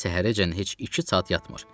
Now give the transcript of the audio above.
Gecəni səhərəcən heç iki saat yatmır.